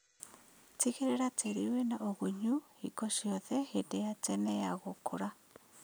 Tigĩrĩra tĩri wĩna ũgunyu hingo ciothe hĩndĩ ya tene ya gũkũra